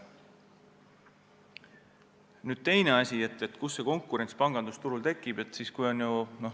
Nüüd, teine asi: kuidas konkurents pangandusturul tekib.